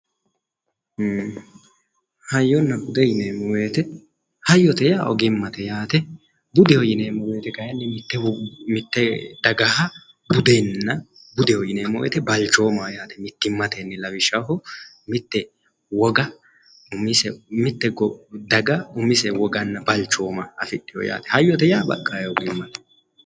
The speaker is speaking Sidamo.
Ii'i hayyonna bude yinneemmo woyte hayyote yaa oggimate yaate, budeho yinneemmo woyte kayinni mite dagaha budeho yinneemmo woyte balchoomaho yaate, lawishshaho mite wogga umisehu wogganna balchooma afidhino yaate, hayyote yaa baqa hayyote.